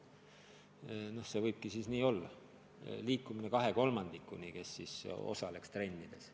Loomulikult see võibki siis olla liikumine selle poole, et 2/3 osaleks trennides.